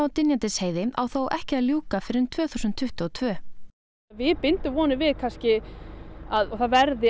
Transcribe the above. Dynjandisheiði á þó ekki að ljúka fyrr en tvö þúsund tuttugu og tvö við bindum vonir við að það verði